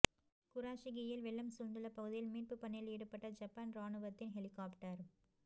குராஷிகியில் வெள்ளம் சூழ்ந்துள்ள பகுதியில் மீட்பு பணியில் ஈடுபட்ட ஜப்பான் ராணுவத்தின் ஹெலிகாப்டர்